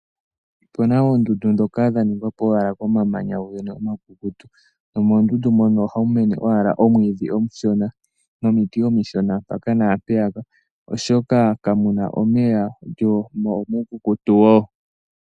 Opu na oondundu ndhoka dhaningwa po owala komamanya omakukutu nomoondundu mono ohamu mene owala omwiidhi omushona nomiti omishona mpaka naampeyaka oshoka kamu na omeya mo omuukukutu wo.